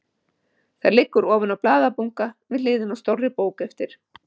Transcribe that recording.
Það liggur ofan á blaðabunka við hliðina á stórri bók eftir